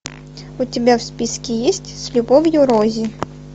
у тебя в списке есть с любовью рози